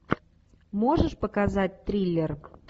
можешь показать триллер